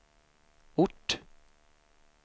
ort